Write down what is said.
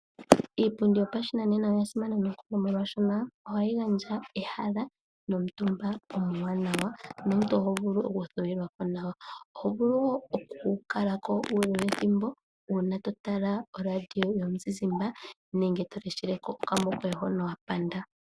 Iipundi yopashinanena oya simana ohayi gandja ehala nomuntu omuwanawa nomuntu oho vulu oku thuwilwa po nawa, oho vulu wo oku kala ko uule wethimbo uuna to tala oradio yomuzizimba nenge to leshele ko okamuvi hoka wa panda.